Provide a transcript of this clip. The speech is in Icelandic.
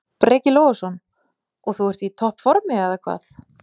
Breki Logason: Og þú ert í topp formi, eða hvað?